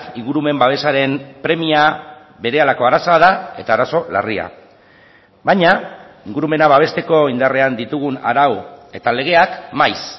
ingurumen babesaren premia berehalako arazoa da eta arazo larria baina ingurumena babesteko indarrean ditugun arau eta legeak maiz